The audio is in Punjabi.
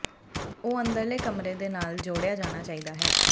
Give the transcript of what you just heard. ਉਹ ਅੰਦਰਲੇ ਕਮਰੇ ਦੇ ਨਾਲ ਜੋੜਿਆ ਜਾਣਾ ਚਾਹੀਦਾ ਹੈ